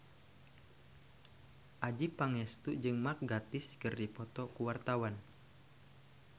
Adjie Pangestu jeung Mark Gatiss keur dipoto ku wartawan